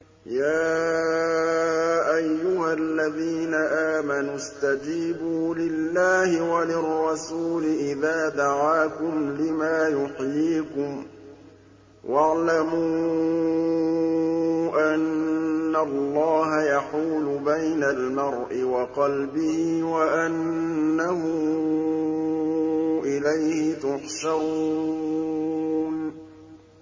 يَا أَيُّهَا الَّذِينَ آمَنُوا اسْتَجِيبُوا لِلَّهِ وَلِلرَّسُولِ إِذَا دَعَاكُمْ لِمَا يُحْيِيكُمْ ۖ وَاعْلَمُوا أَنَّ اللَّهَ يَحُولُ بَيْنَ الْمَرْءِ وَقَلْبِهِ وَأَنَّهُ إِلَيْهِ تُحْشَرُونَ